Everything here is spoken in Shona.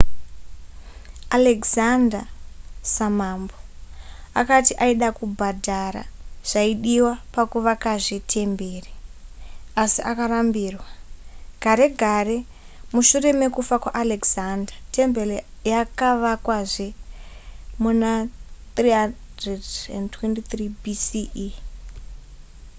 alexander samambo akati aida kubhadhara zvaidiwa pakuvakazve temberi asi akarambirwa gare gare mushure mekufa kwaalexander temberi yakavakwazve muna 323 bce